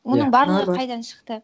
оның барлығы қайдан шықты